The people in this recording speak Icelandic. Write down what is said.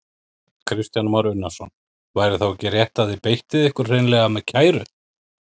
Kristján Már Unnarsson: Væri þá ekki rétt að þið beittuð ykkur hreinlega með kæru?